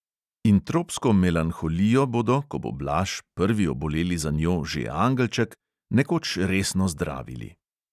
In tropsko melanholijo bodo, ko bo blaž, prvi oboleli za njo, že angelček, nekoč resno zdravili.